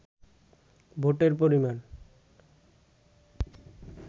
ভোটের পরিমান